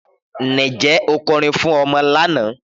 Níjẹ́ o kòrín fún ọmọ lánà?